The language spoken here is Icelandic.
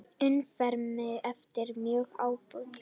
Umferðareftirlit er mjög ábótavant